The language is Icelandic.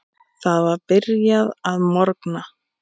Það var byrjað að morgna.